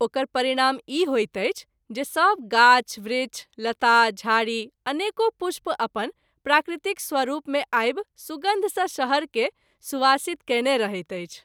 ओकर परिणाम ई होइत अछि जे सभ गाछ वृक्ष , लता, झारी , अनेको पुष्प अपन प्राकृतिक स्वरूप मे आबि सुगन्ध सँ शहर के सुवासित कएने रहैत अछि।